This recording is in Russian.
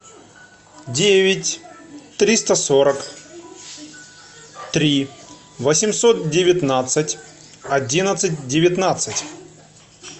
девять триста сорок три восемьсот девятнадцать одиннадцать девятнадцать